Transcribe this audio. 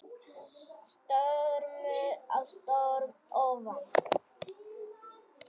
Stormur á storm ofan